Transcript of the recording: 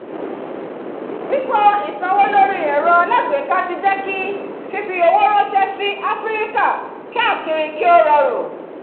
pípọ̀ ìsanwó lórí ẹ̀rọ alágbèéká ti jẹ́ kí fífi owó ránṣẹ́ sí áfíríkà káàkiri kí ó rọrùn